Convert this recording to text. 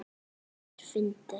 Þetta er fyndið.